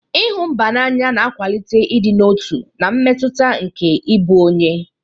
Ịhụ mba n'anya na-akwalite ịdị n'otu na mmetụta nke ịbụ onye.